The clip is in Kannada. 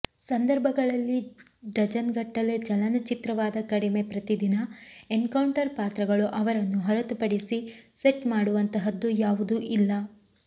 ಸಂದರ್ಭಗಳಲ್ಲಿ ಡಜನ್ಗಟ್ಟಲೆ ಚಲನಚಿತ್ರವಾದ ಕಡಿಮೆ ಪ್ರತಿದಿನ ಎನ್ಕೌಂಟರ್ ಪಾತ್ರಗಳು ಅವರನ್ನು ಹೊರತುಪಡಿಸಿ ಸೆಟ್ ಮಾಡುವಂತಹದ್ದು ಯಾವುದೂ ಇಲ್ಲ